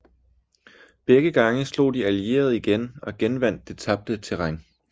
Begge gange slog de allierede igen og genvandt det tabte terræn